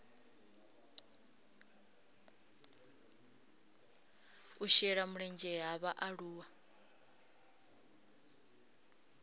u shela mulenzhe ha vhaaluwa